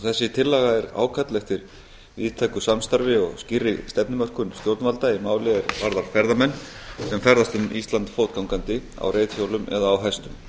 þessi tillaga er ákall eftir víðtæku samstarfi og skýrri stefnumörkun stjórnvalda er varðar ferðamenn sem ferðast um ísland fótgangandi á reiðhjólum eða á hestum